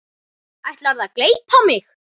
Ætlarðu að gleypa mig!